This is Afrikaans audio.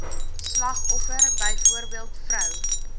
slagoffer byvoorbeeld vrou